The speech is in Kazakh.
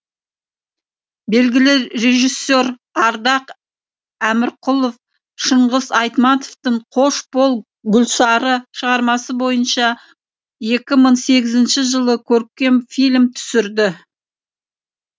белгілі режиссер ардақ әмірқұлов шыңғыс айтматовтың қош бол гүлсары шығармасы бойынша екі мың сегізінші жылы көркем фильм түсірді